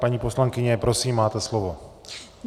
Paní poslankyně, prosím, máte slovo.